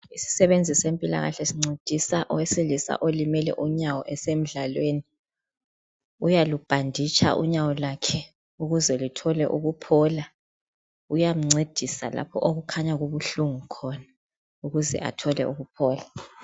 Isisebenzi sempilakahle sincedisa owesilisa olimele unyawo besemdlalweni, uyalubhanditsha unyawo lwakhe ukuze luthole ukuphola, uyamncedisa lapho okukhanya kubuhlungu khona ukuze athole ukuphola.